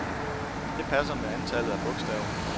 Det passer med antallet af bogstaver.